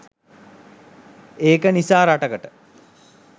ඒක නිසා රටකට